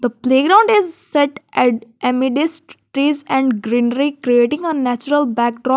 playground is set at a middest place and greenery creating a natural backdrop.